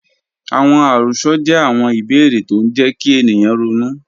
Awọn àròs̩ọ jẹ̀ awọn ìbèèrè̀ tó ń jẹ̀ kí ènìyàn rọ̀nú.